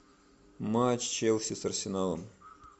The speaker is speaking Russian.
матч челси с арсеналом